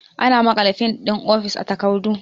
Ana maƙala fin ɗin ofis a takardu